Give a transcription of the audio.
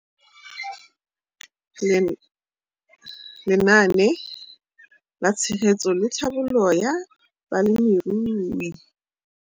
Lenaane la Tshegetso le Tlhabololo ya Balemirui.